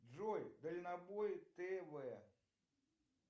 джой дальнобой тв